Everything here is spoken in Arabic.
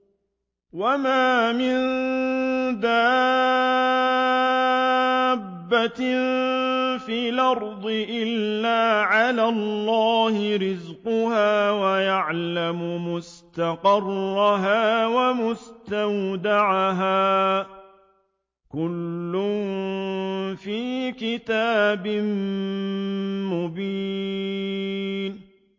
۞ وَمَا مِن دَابَّةٍ فِي الْأَرْضِ إِلَّا عَلَى اللَّهِ رِزْقُهَا وَيَعْلَمُ مُسْتَقَرَّهَا وَمُسْتَوْدَعَهَا ۚ كُلٌّ فِي كِتَابٍ مُّبِينٍ